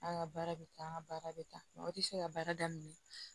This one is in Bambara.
An ka baara bɛ taa an ka baara bɛ taa o tɛ se ka baara daminɛ